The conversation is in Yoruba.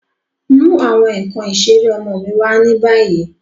Mu awọn nkan isere ọmọ mi wa ni bayi!